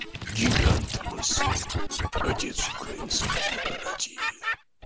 гигант мысли отец украинской демократии